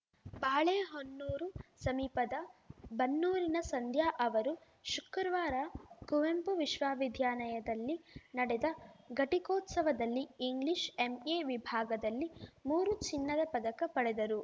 ಬಾಳೆಹೊನ್ನೂರು ಸಮೀಪದ ಬನ್ನೂರಿನ ಸಂಧ್ಯಾ ಅವರು ಶುಕ್ರವಾರ ಕುವೆಂಪು ವಿಶ್ವವಿದ್ಯಾನಯದಲ್ಲಿ ನಡೆದ ಘಟಿಕೋತ್ಸವದಲ್ಲಿ ಇಂಗ್ಲಿಷ್‌ ಎಂಎ ವಿಭಾಗದಲ್ಲಿ ಮೂರು ಚಿನ್ನದ ಪದಕ ಪಡೆದರು